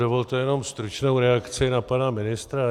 Dovolte jenom stručnou reakci na pana ministra.